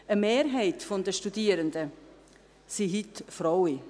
Eine Mehrheit der Studierenden sind heute Frauen.